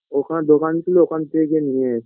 ওখানে দোকান ছিল ওখান থেকে নিয়ে এস